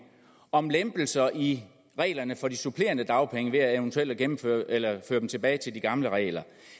om lempelser i reglerne for at få supplerende dagpenge ved eventuelt eventuelt at føre dem tilbage til de gamle regler